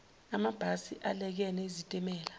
amabhasi alekene izitimela